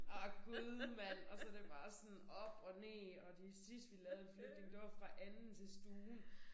Ah Gud mand og så det bare sådan op og ned og til sidst vi lavede en flytning det var fra anden til stuen